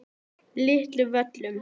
Litlu Völlum